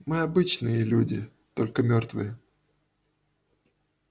мы обычные люди только мёртвые